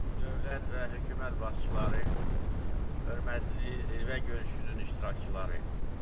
Dövlət və hökumət başçıları, hörmətli zirvə görüşünün iştirakçıları.